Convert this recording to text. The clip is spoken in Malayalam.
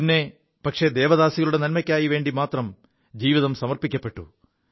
പിീട് ദേവദാസികളുടെ നന്മയ്ക്കായിവേണ്ടി മാത്രം ജീവിതം സമർപ്പിക്കപ്പെു